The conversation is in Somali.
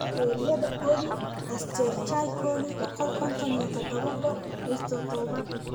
bakteeriyada coli (Escherichia coli boqol konton iyo todobo: H todobad).